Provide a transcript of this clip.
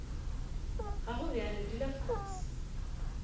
ga go bjalo dula fase